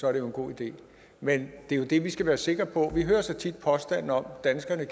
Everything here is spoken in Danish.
er en god idé men det er jo det vi skal være sikre på vi hører så tit påstanden om at danskerne